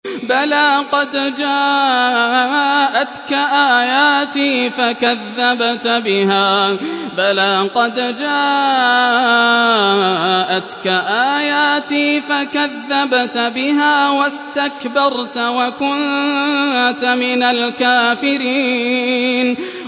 بَلَىٰ قَدْ جَاءَتْكَ آيَاتِي فَكَذَّبْتَ بِهَا وَاسْتَكْبَرْتَ وَكُنتَ مِنَ الْكَافِرِينَ